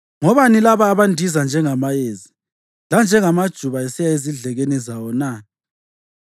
Ngobani laba abandiza njengamayezi lanjengamajuba esiya ezidlekeni zawo na?